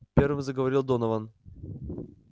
первым заговорил донован